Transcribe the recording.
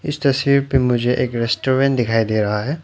इस तस्वीर पे मुझे एक रेस्टोरेंट दिखाई दे रहा है।